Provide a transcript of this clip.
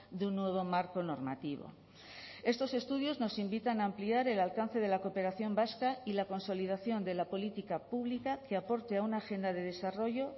de un nuevo marco normativo estos estudios nos invitan a ampliar el alcance de la cooperación vasca y la consolidación de la política pública que aporte a una agenda de desarrollo